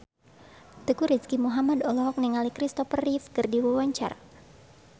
Teuku Rizky Muhammad olohok ningali Kristopher Reeve keur diwawancara